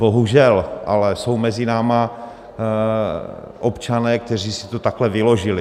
Bohužel ale jsou mezi námi občané, kteří si to takhle vyložili.